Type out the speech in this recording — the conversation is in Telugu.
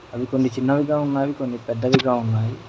అవి కొన్ని చిన్నవిగా ఉన్నవి కొన్ని పెద్దవిగా ఉన్నాయి.